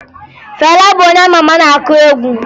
Fela bụ onye a ma ama na-akụ egwu